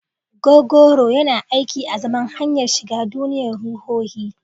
Gogoro yana aiki azaman hanyar shiga duniyar ruhohi.